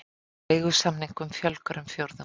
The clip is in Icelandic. Leigusamningum fjölgar um fjórðung